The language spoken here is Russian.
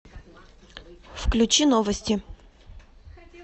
включи новости